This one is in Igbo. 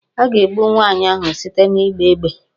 A ga-egbu nwaanyị ahụ site n'ịgba égbè